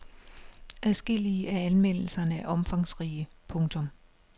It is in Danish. Adskillige af anmeldelserne er omfangsrige. punktum